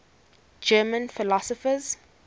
german philosophers